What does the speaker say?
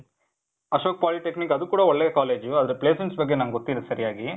Ashok polytechnic, ಅದು ಕೂಡ ಒಳ್ಳೆ ಕಾಲೇಜ್. ಆದ್ರೆ placements ಬಗ್ಗೆ ನಂಗ್ ಗೊತ್ತಿಲ್ಲ ಸರಿಯಾಗಿ.